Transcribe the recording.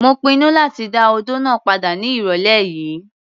Mo pinnu láti dá odó náà padà ní ìrọ̀lẹ́ yìí.